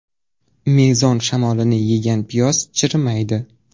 Mezon shamolini yegan piyoz chirimaydi.